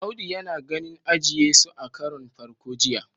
Audu yana ganin eje- Yesu a karon farko jiya